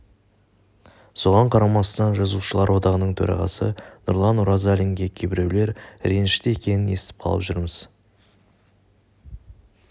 соған қарамастан жазушылар одағының төрағасы нұрлан оразалинге кейбіреулер ренішті екенін естіп қалып жүрміз